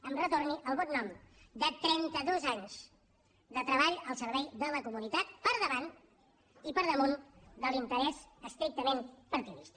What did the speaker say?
em retorni el bon nom de trenta dos anys de treball al servei de la comunitat per davant i per damunt de l’interès estrictament partidista